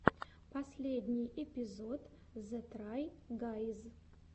последний эпизод зе трай гайз